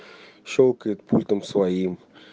щёлкает пультом своим